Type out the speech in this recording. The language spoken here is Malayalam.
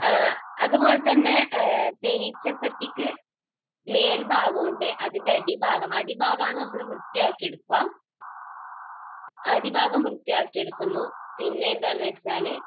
അതുപോലെതന്നെ തേനീച്ചപ്പെട്ടിക്ക് മേൽഭാഗം ഉണ്ട്. അതിൻറെ അടിഭാഗം, അടിഭാഗം ആണ് നമ്മൾ വൃത്തിയാക്കിയെടുക്കുക. അടിഭാഗം വൃത്തിയാക്കി എടുക്കുന്നു, പിന്നെ എന്താണെന്ന് വെച്ചാൽ